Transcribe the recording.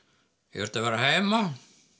ég þurfti að vera heima